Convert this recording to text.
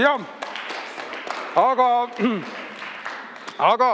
Jah, aga-aga ...